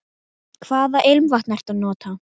Hvaða ilmvatn ertu að nota?